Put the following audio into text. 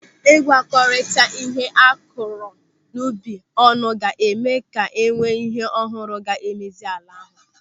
Ị gwakorita ihe akụrụ n'ubi ọnụ ga-eme ka enwee ihe ọhụrụ ga-emezi ala ahụ.